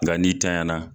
Nka n'i tanɲanya na